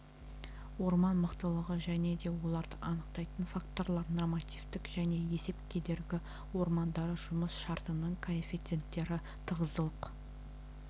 орман мықтылығы және де оларды анықтайтын факторлар нормативтік және есеп кедергі ормандары жұмыс шартының коэффициенттері тығыздылық